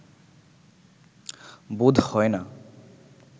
বোধ হয় না